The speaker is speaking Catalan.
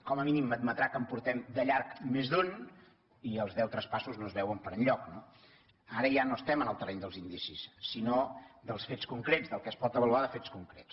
com a mínim m’admetrà que en portem de llarg més d’un i els deu traspassos no es veuen per enlloc no ara ja no estem en el terreny dels indicis sinó dels fets concrets del que es pot avaluar de fets concrets